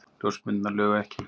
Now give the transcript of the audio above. Og ljósmyndirnar lugu ekki.